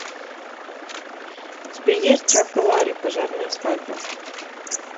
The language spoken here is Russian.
у тебя есть чак и ларри пожарная свадьба